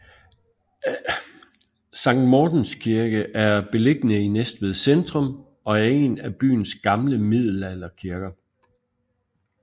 Sankt Mortens Kirke er beliggende i Næstved centrum og er en af byens gamle middelalderkirker